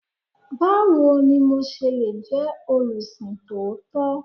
Báwo ni mo se le jẹ́ olùsìn tòótọ́?